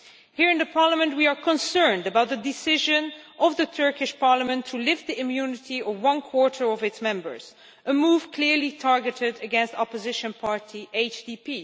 Here in Parliament we are concerned about the decision of the Turkish Parliament to lift the immunity of one quarter of its members, a move clearly targeted against the opposition party HDP.